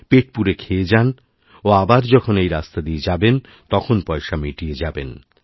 পেট পুরে খেয়ে যান ও আবার যখন এই রাস্তা দিয়ে যাবেন তখন পয়সামিটিয়ে যাবেন